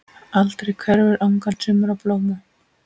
Aldrei hverfur angan sumra blóma.